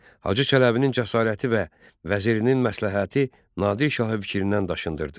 Hacı Çələbinin cəsarəti və vəzirinin məsləhəti Nadir şahı fikrindən daşındırdı.